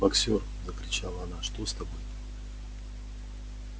боксёр закричала она что с тобой